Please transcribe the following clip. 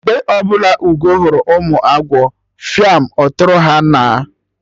Mgbe ọbụla Ugo hụrụ ụmụ agwọ, fiam! Ọtụtụrụ ha naa!